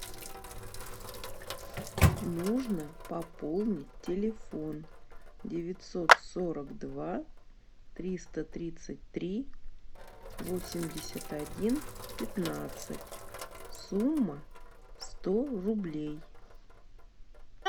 нужно пополнить телефон девятьсот сорок два триста тридцать три восемьдесят один пятнадцать сумма сто рублей